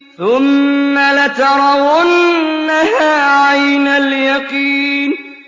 ثُمَّ لَتَرَوُنَّهَا عَيْنَ الْيَقِينِ